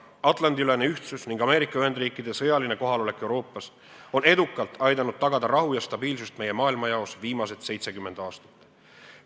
Atlandi-ülene ühtsus ning Ameerika Ühendriikide sõjaline kohaolek Euroopas on edukalt aidanud tagada rahu ja stabiilsust meie maailmajaos viimased 70 aastat.